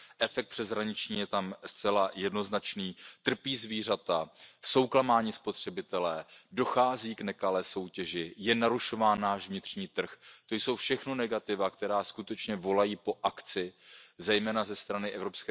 Ten přeshraniční efekt je tam zcela jednoznačný trpí zvířata, jsou klamáni spotřebitelé, dochází k nekalé soutěži, je narušován náš vnitřní trh, to jsou všechno negativa, která skutečně volají po akci zejména ze strany EK.